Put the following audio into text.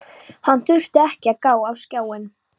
Hann þurfti ekki að gá á skjáinn.